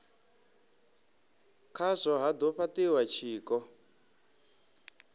khazwo ha do fhatiwa tshiko